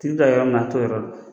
Tigi bi taa yɔrɔ min na a t'o yɔrɔ dɔn